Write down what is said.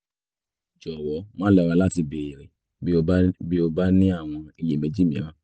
jọ̀wọ́ má lọ́ra láti béèrè bí o bí o bá ní àwọn iyèméjì mìíràn